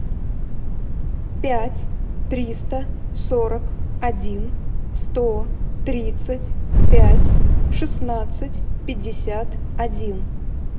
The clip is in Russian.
пять триста сорок один сто тридцать пять шестнадцать пятьдесят один